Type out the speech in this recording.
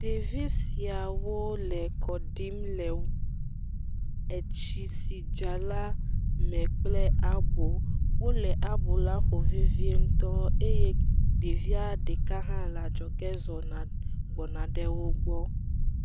Ɖevi siawo le kɔ ɖim le etsi si dza la me kple abo. Wòle abɔ la ƒom vevie ŋutɔ eye ɖevia hã le adzɔge zɔge gbɔ na va wògbɔ.